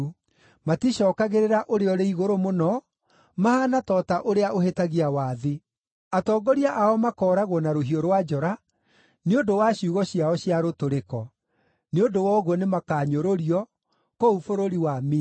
Maticookagĩrĩra Ũrĩa-ũrĩ-Igũrũ-Mũno; mahaana ta ũta ũrĩa ũhĩtagia wathi. Atongoria ao makooragwo na rũhiũ rwa njora, nĩ ũndũ wa ciugo ciao cia rũtũrĩko. Nĩ ũndũ wa ũguo nĩmakanyũrũrio kũu bũrũri wa Misiri.